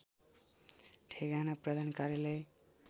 ठेगाना प्रधान कार्यालय